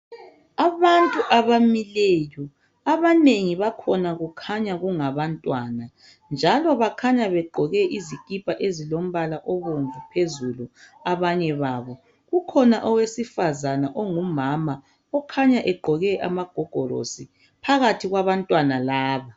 Abantu abamileyo abanengi bakhona kukhanya kungabantwana njalo bakhanya begqoke izikipa ezilompala obomvu phezulu abanye babo. kukhona owesifazana ongumama okhanya egqoke amagogorosi phakathi kwabantwana laba.